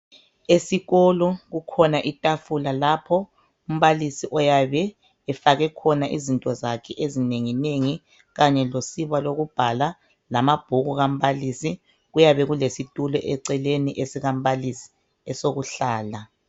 Esikolo kukhona itafula lapho umbalisi oyabe efake khona izinto zakhe ezinengi nengi kanye losiba lokubhala lama bhuku kambalisi kuyabe kulesi tulo eceleni esika mbalisi esoku hlala.